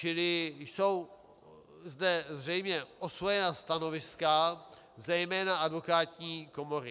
Čili jsou zde zřejmě osvojená stanoviska, zejména advokátní komory.